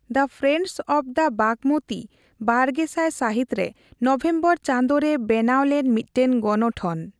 The friends of the Bagmati ᱵᱟᱨᱜᱮᱥᱟᱭ ᱥᱟᱹᱦᱤᱛᱨᱮ November ᱪᱟᱸᱫᱚ ᱨᱮ ᱵᱮᱱᱟᱣ ᱞᱮᱱ ᱢᱤᱫᱴᱟᱝ ᱜᱚᱱᱚᱴᱷᱚᱱ ᱾